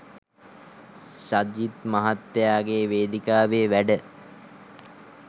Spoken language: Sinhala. සජිත් මහත්තයාගේ වේදිකාවේ වැඩ.